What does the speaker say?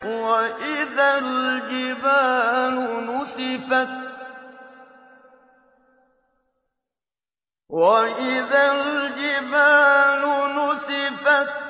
وَإِذَا الْجِبَالُ نُسِفَتْ